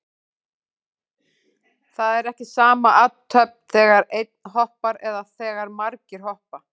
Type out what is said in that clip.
Það er ekki sama athöfn þegar einn hoppar eða þegar margir hoppa.